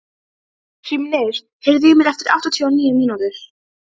Hrímnir, heyrðu í mér eftir áttatíu og níu mínútur.